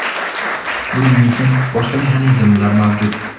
Buning uchun boshqa mexanizmlar mavjud.